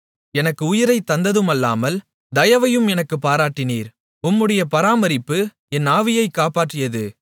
எனக்கு உயிரைத் தந்ததும் அல்லாமல் தயவையும் எனக்குப் பாராட்டினீர் உம்முடைய பராமரிப்பு என் ஆவியைக் காப்பாற்றியது